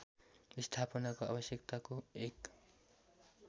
स्थापनाको आवश्यकताको एक